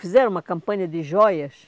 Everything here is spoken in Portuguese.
Fizeram uma campanha de joias.